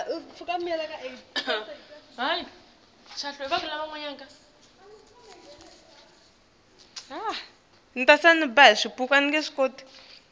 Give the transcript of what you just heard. bufakazi bekuhlela